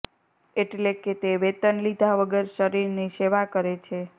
એટલે કે તે વેતન લીધા વગર શરીરની સેવા કરે છે